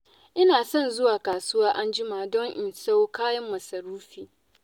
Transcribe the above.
Ina son zuwa kasuwa an jima don in sayo kayan masarufi